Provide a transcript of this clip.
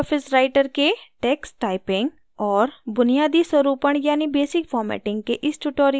Libre office writer के text typing और बुनियादी स्वरूपण यानि basic formatting के इस tutorial में आपका स्वागत है